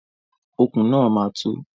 Okùn náà máa tó.